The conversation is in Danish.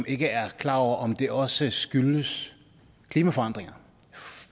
ikke er klar over om det også skyldes klimaforandringer